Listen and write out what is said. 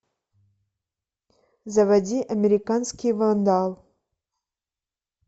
заводи американский вандал